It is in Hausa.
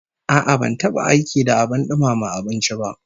A'a, ban taba aiki da abin dumama abinci ba